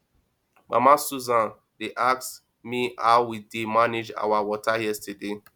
mama susan dey ask me how we dey manage our water yesterday